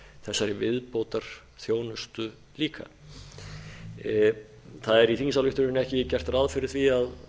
þessari viðbótarþjónustu líka í þingsályktuninni er ekki gert ráð fyrir því að